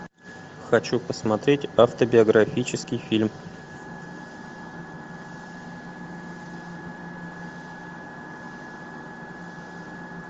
хочу посмотреть автобиографический фильм